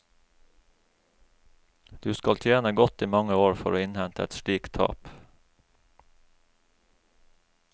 Du skal tjene godt i mange år for å innhente et slikt tap.